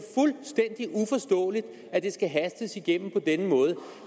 fuldstændig uforståeligt at det skal hastes igennem på denne måde